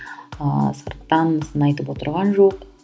ыыы сырттан сын айтып отырған жоқ